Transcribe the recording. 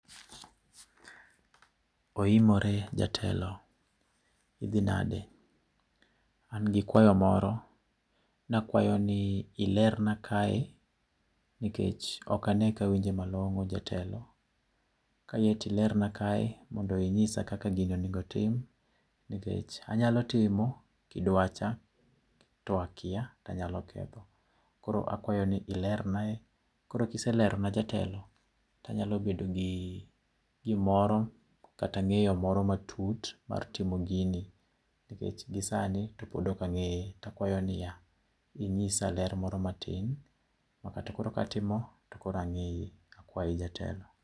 Oimore jatelo. Idhi nade. An gikwayo moro. Ne akwayo ni ilerna kae nikech ok ane kawinje malong'o jatelo. Kiyie to ilerna kae mondo inyisa kaka gini onego otim nikech anyalo timo kidwacha to akia to anyalo ketho. Koro akwayo ni ilernae. Koro ka ise lerona jatelo, tanyalo bedo gi gimoro kata ng'eyo moro matut mar timo gini. Nikech gisani to pod ok ang'eye koro akwayo niya, inyisa ler moro matin makata ka koro atimo to koro ang'eye. Akwayi jatelo.